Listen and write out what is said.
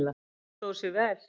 Það stóð sig vel.